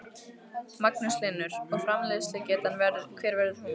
Magnús Hlynur: Og framleiðslugetan hver verður hún?